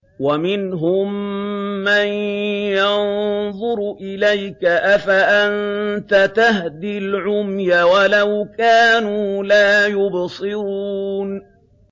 وَمِنْهُم مَّن يَنظُرُ إِلَيْكَ ۚ أَفَأَنتَ تَهْدِي الْعُمْيَ وَلَوْ كَانُوا لَا يُبْصِرُونَ